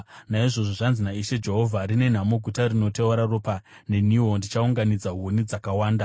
“ ‘Naizvozvo zvanzi naIshe Jehovha: “ ‘Rine nhamo guta rinoteura ropa! Neniwo, ndichaunganidza huni dzakawanda.